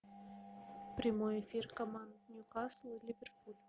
прямой эфир команд ньюкасл ливерпуль